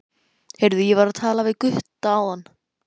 Heyrðu, ég var að tala við Gutta áðan.